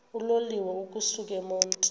uloliwe ukusuk emontini